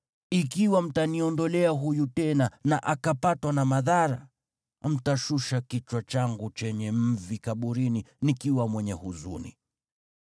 Ikiwa mtaniondolea huyu tena na akapatwa na madhara, mtashusha kichwa changu chenye mvi kaburini nikiwa mwenye huzuni.’